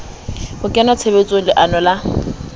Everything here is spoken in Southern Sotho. ho kenya tshebetsong leano la